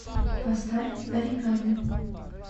поставь оригами